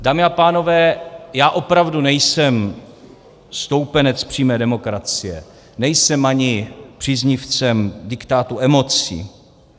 Dámy a pánové, já opravdu nejsem stoupenec přímé demokracie, nejsem ani příznivcem diktátu emocí.